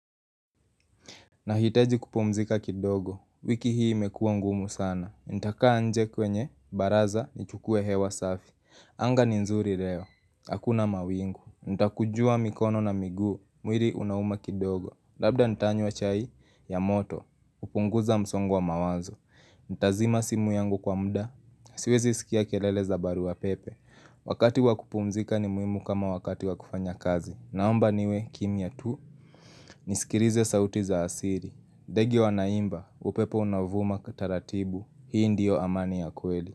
Nahitaji kupumzika kidogo, wiki hii imekuwa ngumu sana Nitakaa nje kwenye, baraza, nichukue hewa safi anga ni nzuri leo, hakuna mawingu Nitakunjua mikono na miguu, mwili unauma kidogo Labda nitanywa chai ya moto, hupunguza msongo wa mawazo Nitazima simu yangu kwa muda, siwezi sikia kelele za barua pepe Wakati wakupumzika ni muhimu kama wakati wa kufanya kazi Naomba niwe kimya tu, nisikilize sauti za asili ndege wanaimba upepo unaovuma taratibu. Hii ndiyo amani ya kweli.